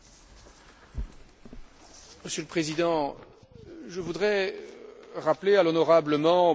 Monsieur le Président, je voudrais rappeler à l'honorable membre la fin de mon intervention.